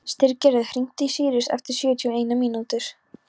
Styrgerður, hringdu í Sýrus eftir sjötíu og eina mínútur.